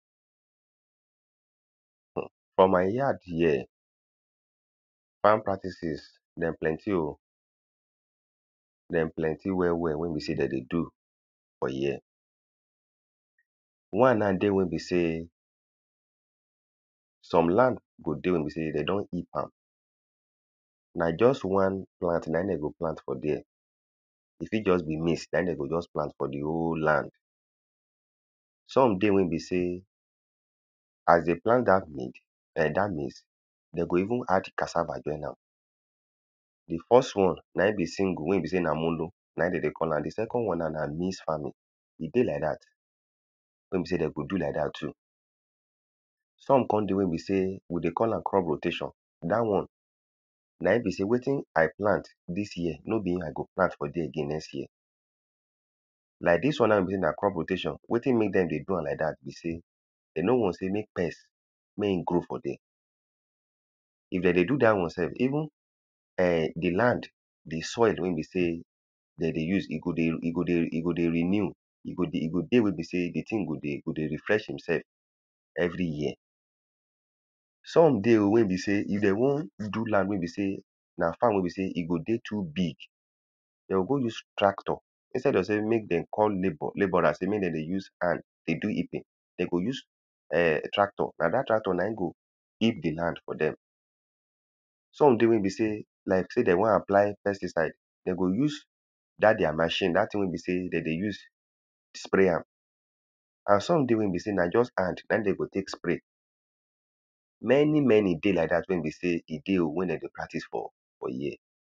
um for my yard here farm practices dem plenty o. Dem plenty well well wey be sey dem dey do for here. One now dey wey be sey, some land go dey wey be sey de don heap am. Na just one plant na im de go plant for dere. E fit just be maize na im de go just plant for the whole land. Some dey wey be sey as they plant dat maize ern dat maize de go even add cassava join am. The first one na im be single. Wey be sey na mono na im de dey call am. The second one na mix farming. E dey like dat wey be sey de go do like dat too. Some con dey wey be sey we dey call am crop rotation. Dat one na im be sey wetin i plant dis year no be im i go plant again for dere next year. Like dis one now wey be sey na crop rotation wetin make dem dey do am like dat be sey they no want sey make pest mey e go for dere. If dem dey do dat one self even um the land the soil wey be sey dem dey use. E go dey e go dey ego dey renew E go dey, e go dey wey be sey the thing go dey go dey refresh imself every year. Some deyo wey be sey, if de wan do land wey be sey na farm wey be sey, e go dey too big. De o go use tractor instead of sey make dem go call labour labourer sey make dem dey use hand dey do heaping, de go use um tractor. Na dat tractor na im go dig the land for dem. Some dey wey be sey like sey de wan apply pesticide, de go use dat their machine. Dat thing wey be sey de dey use spray am. And some dey wey be sey na just hand na im dey go take spray. Many many dey like dat wey be sey, e dey o wey de dey practice for for here.